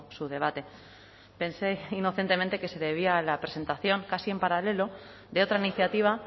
su debate pensé inocentemente que se debía a la presentación casi en paralelo de otra iniciativa